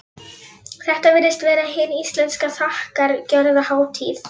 Þetta virðist vera hin íslenska þakkargjörðarhátíð.